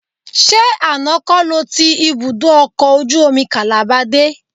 Ṣé àná kọ́ lo ti ibùdó ọkọ̀ ojú omi Calabar dé?